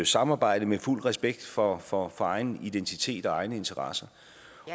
samarbejde med fuld respekt for for egen identitet og egne interesser